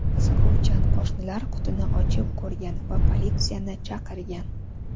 Qiziquvchan qo‘shnilar qutini ochib ko‘rgan va politsiyani chaqirgan.